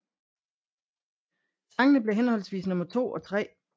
Sangene blev henholdsvis nummer 2 og 3